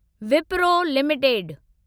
Wipro limited